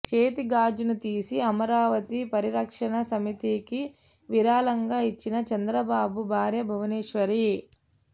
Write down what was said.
చేతి గాజును తీసి అమరావతి పరిరక్షణ సమితికి విరాళంగా ఇచ్చిన చంద్రబాబు భార్య భువనేశ్వరి